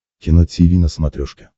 кино тиви на смотрешке